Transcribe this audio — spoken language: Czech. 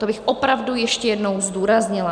To bych opravdu ještě jednou zdůraznila.